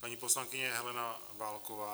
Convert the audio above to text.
Paní poslankyně Helena Válková.